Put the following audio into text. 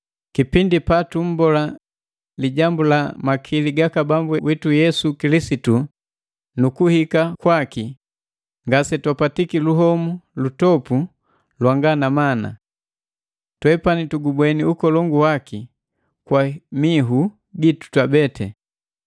Kipindi patummbola lijambu la makili gaka Bambu witu Yesu Kilisitu nu kuhika kwaki, ngase twapwatiki luhomu lundopu lwanga na mana. Twepani tugubweni ukolongu waki kwa mihu gitu twabete.